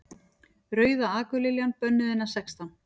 Rauða akurliljan. bönnuð innan sextán